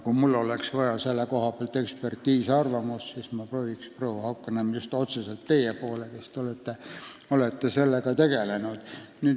Kui mul oleks vaja selle koha pealt eksperdiarvamust, siis ma pöörduksin, proua Haukanõmm, just otseselt teie poole, kes te olete selle teemaga tegelenud.